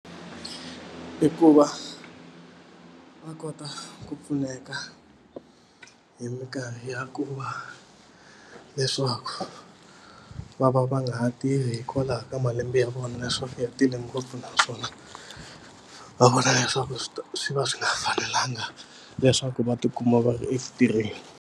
I ku va va kota ku pfuneka hi mikarhi ya ku va leswaku va va va nga ha tirhi hikwalaho ka malembe ya vona leswaku ya tele ngopfu naswona va vona leswaku swi swi va swi nga fanelanga leswaku va tikuma va ri eku tirheni.